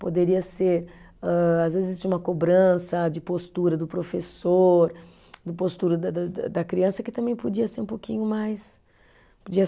Poderia ser âh, às vezes, uma cobrança de postura do professor, de postura da da da da criança, que também podia ser um pouquinho mais, podia